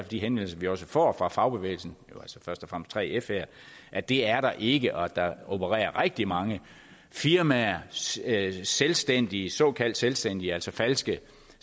de henvendelser vi også får fra fagbevægelsen jo altså først og fremmest 3f her at det er der ikke men at der opererer rigtig mange firmaer såkaldt selvstændige såkaldt selvstændige altså falske